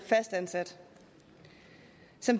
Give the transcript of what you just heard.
fastansat